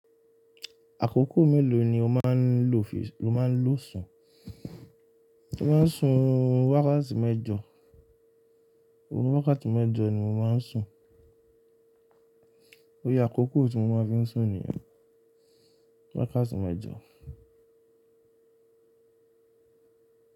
Àkókò mélòó ni o máa ń lo fi, o máa ń lo sùn? Mo máa ń sùn wákàtí mẹ́jọ, orun wákàtí mẹ́jọ ni mo máa ń sùn. Óye àkókò tí mo máa fi ń sùn nìyẹn. Wákàtí mẹ́jọ.